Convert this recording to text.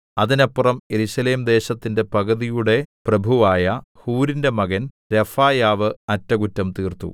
അതിനപ്പുറം യെരൂശലേം ദേശത്തിന്റെ പകുതിയുടെ പ്രഭുവായ ഹൂരിന്റെ മകൻ രെഫായാവ് അറ്റകുറ്റം തീർത്തു